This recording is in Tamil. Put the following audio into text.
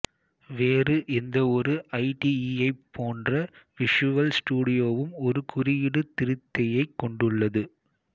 வேறு எந்தவொரு ஐடிஈயைப் போன்றே விஷுவல் ஸ்டுடியோவும் ஒரு குறியீடு திருத்தியைக் கொண்டுள்ளது